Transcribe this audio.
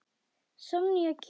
Sonja kemur.